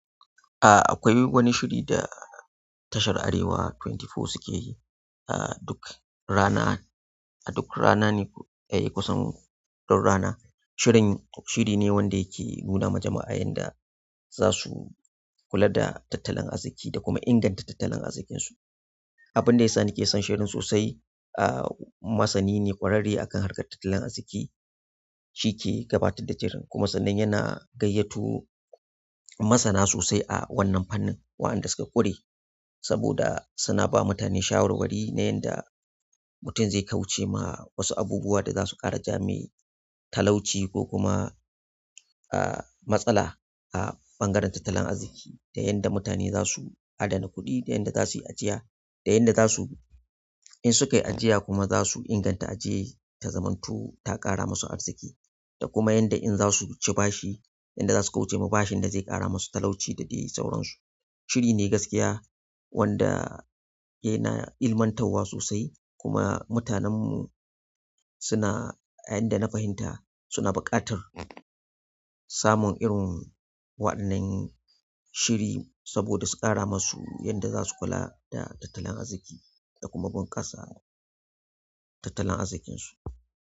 A akwai wani shiri da tashar Arewa ashirin da huɗu suke yi duk rana, a duk rana ne, eh, kusan duk rana. Shirin, shiri ne wanda yake nuna ma jama'ar yanda za su kula da tattalin arziki da kuma inganta tattalin arzikinsu. Abin da yasa nake son shirin sosai, aah masani ne ƙwararre a kan harkar tattalin arziki, shi ke gabatar da shirin kuma sannan yana gayyato masana sosai a wannan fannin waɗanda suka ƙure saboda suna ba mutane shawarwari na yanda mutum zai kauce ma wasu abubuwa da za su ƙara ja mai talauci ko kuma ah, matsala a ɓangaren tattalin arziki, da yanda mutane zasu adana kuɗi da yanda zasu yi ajiya, da yanda zasu, in suka yi ajiya kuma zasu inganta ajiyar ta zamanto ta ƙara masu kuɗi da kuma yanda in za su bashi, yanda za su kauce ma bashin da zai ƙara masu talauci da dai sauransu. Shiri ne gaskiya wanda yana ilmantarwa sosai kuma mutanen mu suna, a yanda na fahimta suna buƙatar samun irin waɗannan shiri saboda su ƙara masu yanda za su kula da tattalin arziki da kuma bunƙasa tattalin arzikinsu.